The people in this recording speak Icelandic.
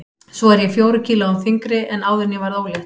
Svo er ég fjórum kílóum þyngri en áður en ég varð ólétt.